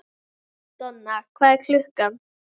Donna, hvað er klukkan?